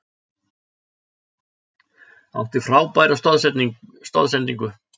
Átti frábæra stoðsendingu.